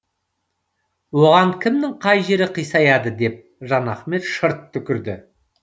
оған кімнің қай жері қисаяды деп жанахмет шырт түкірді